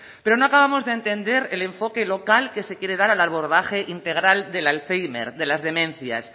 pero no acabamos de entender el enfoque local que se quiere dar al abordaje integral del alzhéimer de las demencias